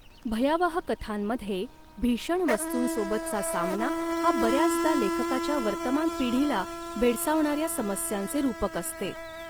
भयावह कथांमध्ये, भीषण वस्तूंसोबतचा सामना हा बऱ्याचदा लेखकाच्या वर्तमान पिढीला भेडसावणाऱ्या समस्यांचे रूपक असते.